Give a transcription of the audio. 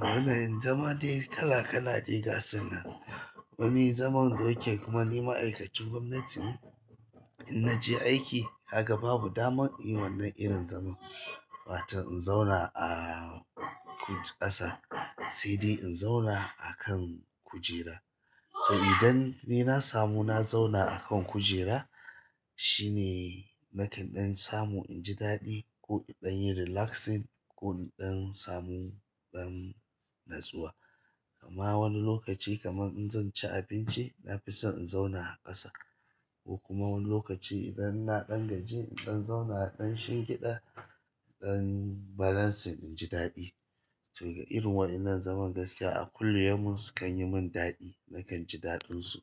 Hane zama dai kala kala ne gasan nan. Wani zaman da yake kuma ni ma'aikacin gwamnati ne, in naje aiki kaga babu damar yi wannan irin zaman. Ba ta in zauna a ƙasa se de in zauna a kan kujera. To idan ni na samu na zauna a kan kujera shine nakanɗen samu in ji daɗi ko inɗan yin relaxing ko inɗan samu ɗan natsuwa. Kuma wani lokaci kamar in zan ci abinci, na fi son in zauna a ƙasa. Kuma wani lokaci idan na ɗan gaji, inɗan zauna a ɗanshin gida, inɗan balancing in ji daɗi. To ga irin wayannan zaman gaskiya a kullum sukan yi min daɗi, nakan ji daɗin su.